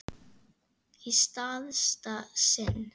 Í síðasta sinn.